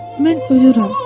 mən ölürəm.